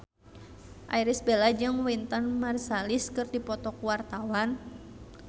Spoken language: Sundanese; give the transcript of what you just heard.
Irish Bella jeung Wynton Marsalis keur dipoto ku wartawan